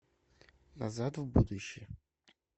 назад в будущее